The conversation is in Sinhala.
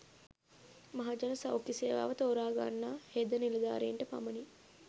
මහජන සෞඛ්‍ය සේවාව තෝරාගන්නා හෙද නිලධාරීන්ට පමණි